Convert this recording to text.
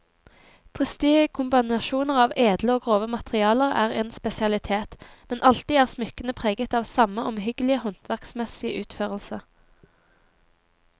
Dristige kombinasjoner av edle og grove materialer er en spesialitet, men alltid er smykkene preget av samme omhyggelige håndverksmessige utførelse.